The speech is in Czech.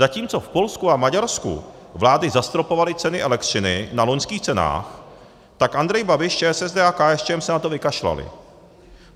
Zatímco v Polsku a Maďarsku vlády zastropovaly ceny elektřiny na loňských cenách, tak Andrej Babiš, ČSSD a KSČM se na to vykašlali.